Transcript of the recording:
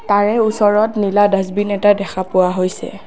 তাৰে ওচৰত নীলা ডাষ্টবিন এটা দেখা পোৱা হৈছে।